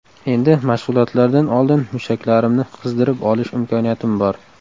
Endi mashg‘ulotlardan oldin mushaklarimni qizidirib olish imkoniyatim bor”.